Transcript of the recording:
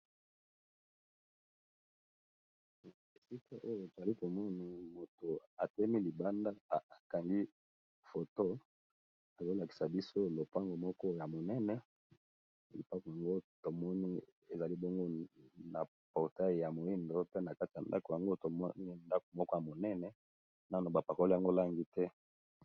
Esika oyo tali komoni moto atemi libanda akangi foto azolakisa biso lopango moko ya monene, lopango yango tomoni ezali bongo na portale ya moindo pe na kati ya ndako yango tomoni ndako moko ya monene nano bapakole yango langi te.